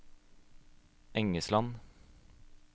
Engesland